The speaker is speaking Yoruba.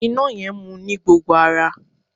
Iná yẹn mu ní gbogbo ara.